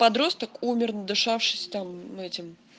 подросток умер надышавшись там этим